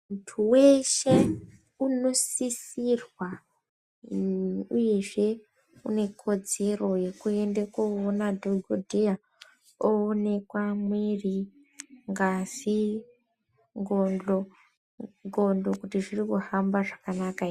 Munthu weshe unosisirwa uyezve une kodzero yekuenda koona dhokodheya oomekwa mwiri ngazi ndxondo kuona kuti zviri kuhamba zvakanaka ere.